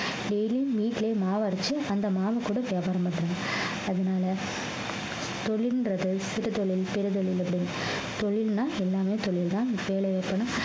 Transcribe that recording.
daily யும் வீட்டுலயே மாவு அரைச்சு அந்த மாவு கூட வியாபாரம் பன்றாங்க அதுனால தொழில்ன்றது சிறு தொழில் பெரு தொழில் அப்படி தொழில்னா எல்லாமே தொழில்தான் வேலை இருக்கணும்